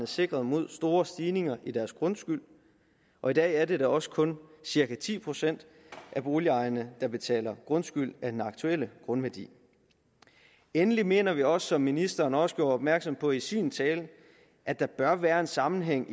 sikret mod store stigninger i deres grundskyld og i dag er det da også kun cirka ti procent af boligejerne der betaler grundskyld af den aktuelle grundværdi endelig mener vi også som ministeren også gjorde opmærksom på i sin tale at der bør være en sammenhæng